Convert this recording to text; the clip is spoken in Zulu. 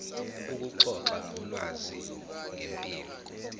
ukuxoxa ngolwazi ngempilo